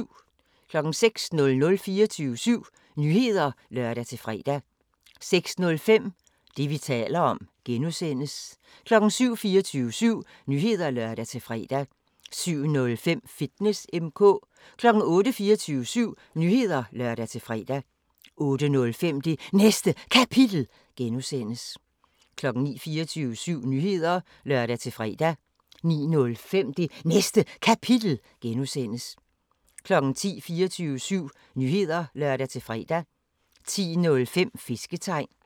06:00: 24syv Nyheder (lør-fre) 06:05: Det, vi taler om (G) 07:00: 24syv Nyheder (lør-fre) 07:05: Fitness M/K 08:00: 24syv Nyheder (lør-fre) 08:05: Det Næste Kapitel (G) 09:00: 24syv Nyheder (lør-fre) 09:05: Det Næste Kapitel (G) 10:00: 24syv Nyheder (lør-fre) 10:05: Fisketegn